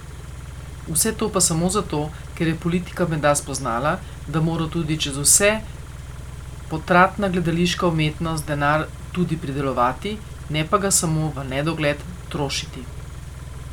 Vse to pa samo zato, ker je politika menda spoznala, da mora tudi čez vse potratna gledališka umetnost denar tudi pridelovati, ne pa ga samo v nedogled trošiti.